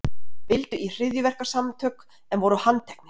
Vildu í hryðjuverkasamtök en voru handteknir